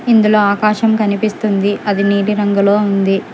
ఇందులో ఆకాశం కనిపిస్తుంది అది నీది రంగులో ఉంది.